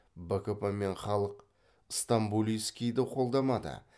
бкп мен халық стамболийскийді қолдамады